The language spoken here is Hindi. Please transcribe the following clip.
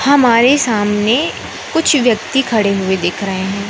हमारे सामने कुछ व्यक्ति खड़े हुए दिख रहे है।